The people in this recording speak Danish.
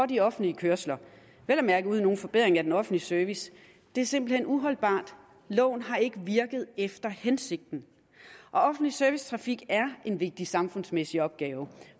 de offentlige kørsler vel at mærke uden nogen forbedring af den offentlige service det er simpelt hen uholdbart loven har ikke virket efter hensigten og offentlig servicetrafik er en vigtig samfundsmæssig opgave